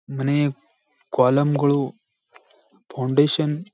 ಮನೆಯ ಕಾಲೌಮ್ಗಳು ಫೌಂಡೇಶನ್ --